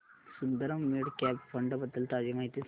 Sundaram mid cap fund बद्दल ताजी माहिती सांग